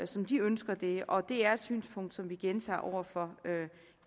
som de ønsker det og det er et synspunkt som vi gentager over for